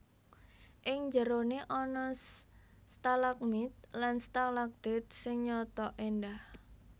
Ing njeroné ana stalagmit lan stalagtit sing nyata éndah